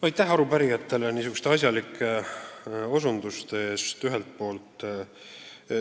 Aitäh arupärijatele niisuguste asjalike märkuste eest!